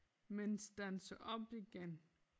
Men standser op igen